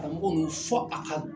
Karamɔgɔ nin fɔ a ka